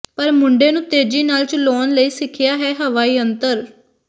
ਪਰ ਮੁੰਡੇ ਨੂੰ ਤੇਜ਼ੀ ਨਾਲ ਚਲਾਉਣ ਲਈ ਸਿੱਖਿਆ ਹੈ ਹਵਾ ਯੰਤਰ